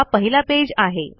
हा पहिला पेज आहे